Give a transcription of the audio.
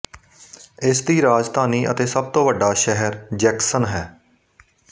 ਇਸ ਦੀ ਰਾਜਧਾਨੀ ਅਤੇ ਸਭ ਤੋਂ ਵੱਡਾ ਸ਼ਹਿਰ ਜੈਕਸਨ ਹੈ